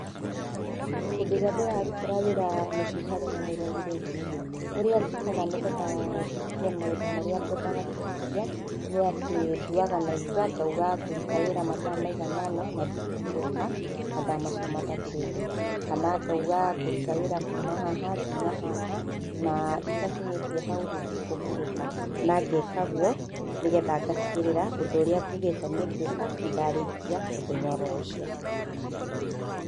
Hĩndĩ ĩrĩa ndĩrarutĩra wĩra mũciĩ itarĩ na mũrori rĩ, ũrĩa njĩkaga nĩguo hingie maũndũ marĩa ngwendaga kũhingĩa nĩ atĩ nduaga na itua ngũruta wĩra matha maigana ona na ndikũhurũka matha macio matathĩrĩte, kana ngauga ngũruta wĩra kuuma haha, nginya haha na itakinyĩtie hau ndĩkũhurũka. Nangeka guo nĩgetha ngatigĩrĩra ũndũ ũrĩa ngugĩte nĩ ngwĩka nĩndarĩkia o mũthenya oro ũcio.